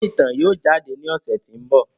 Iwe itan yóò jade ni ọsẹ ti n bọ.